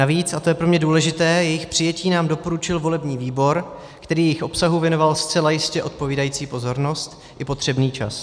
Navíc, a to je pro mě důležité, jejich přijetí nám doporučil volební výbor, který jejich obsahu věnoval zcela jistě odpovídající pozornost i potřebný čas.